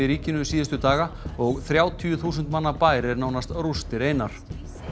ríkinu síðustu daga og þrjátíu þúsund manna bær er nánast rústir einar